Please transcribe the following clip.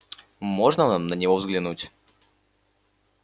можно нам на него взглянуть